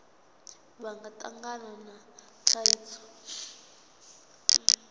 vha nga tangana na thaidzo